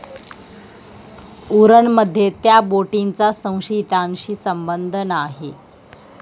उरणमध्ये त्या बोटीचा संशयितांशी संबंध नाही!